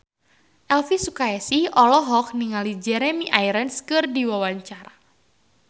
Elvi Sukaesih olohok ningali Jeremy Irons keur diwawancara